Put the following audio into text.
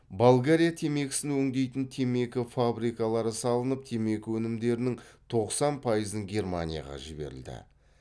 болгария темекісін өңдейтін темекі фабрикалары салынып темекі өнімдерінің тоқсан пайызын германияға жіберілді